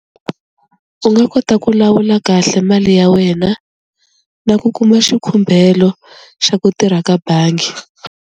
U nga kota ku lawula kahle mali ya wena, na ku kuma xikhumbhelo xa ku tirha ka bangi.